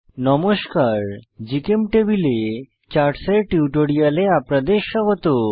নমস্কার জিচেমটেবল এ chart chart এর এই টিউটোরিয়ালে আপনাদের স্বাগত